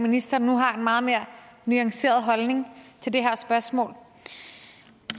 ministeren nu har en meget mere nuanceret holdning til det her spørgsmål